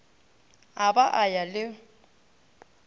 a ba a ya le